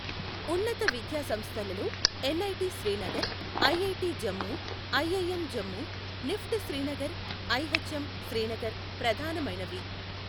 ఉన్నత విద్యాసంస్థలలో NIT Srinagar, IIT Jammu, IIM Jammu, NIFT Srinagar, IHM Srinagar ప్రధానమైనవి.